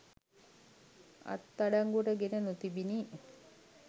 අත්අඩංගුවට ගෙන නොතිබිණි.